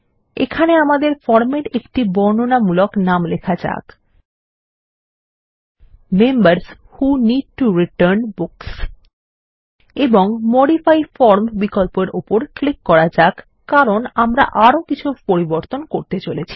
এখানে আমাদের ফরমের একটি বর্ণনামূলক নাম লেখা যাক members who need to return books এবং মডিফাই ফর্ম বিকল্পর উপর ক্লিক করা যাক কারণ আমরা আরো কিছু পরিবর্তন করতে চলেছি